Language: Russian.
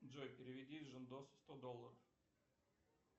джой переведи жендосу сто долларов